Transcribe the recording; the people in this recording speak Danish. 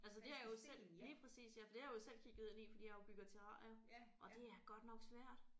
Altså det har jo selv lige præcis ja for det har jeg selv kigget ind i fordi jeg jo bygger terrarier og det er godt nok svært